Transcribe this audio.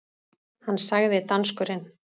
Hann sagði, danskurinn